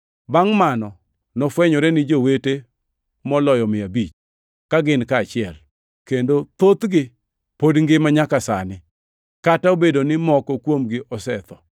Bangʼ mano nofwenyore ni jowete moloyo mia abich, ka gin kanyachiel, kendo thothgi pod ngima nyaka sani, kata obedo ni moko kuomgi osetho.